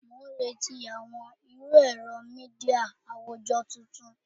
Mo n reti awọn iru ẹrọ media awujọ tuntun